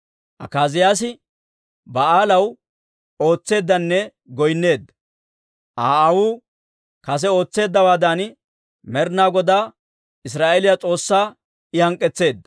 Akaaziyaasi Ba'aalaw ootseeddanne goynneedda. Aa aawuu kase ootseeddawaadan, Med'inaa Godaa, Israa'eeliyaa S'oossaa I hank'k'etseedda.